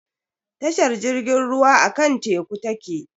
Tashar jirgin ruwa akan teku take.